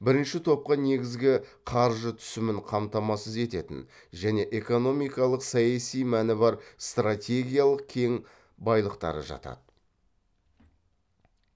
бірінші топқа негізгі қаржы түсімін қамтамасыз ететін және экономикалық саяси мәні бар стратегиялық кен байлықтары жатады